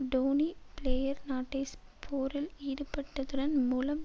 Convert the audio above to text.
Dhoni player நாட்டை ஸ்போரில் ஈடுபட்டதுடன் மூலம்